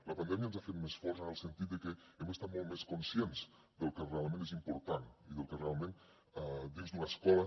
la pandèmia ens ha fet més forts en el sentit de que hem estat molt més conscients del que realment és important i del que realment dins d’una escola